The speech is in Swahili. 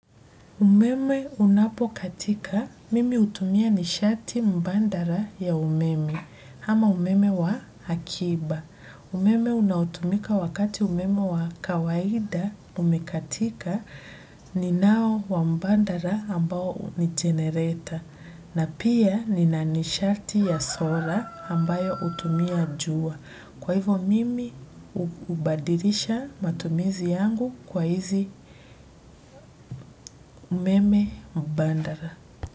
Umeme unapokatika, mimi hutumia nishati mbandara ya umeme, hama umeme wa akiba. Umeme unaotumika wakati umeme wa kawaida umekatika, ninao wa mbandara ambao ni genereta. Na pia nina nishati ya sola ambayo hutumia jua kwa hivyo mimi hubadirisha matumizi yangu kwa hizi umeme mbandara.